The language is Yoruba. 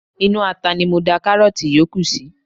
Inú ata ni mo da karoti yòókù sí.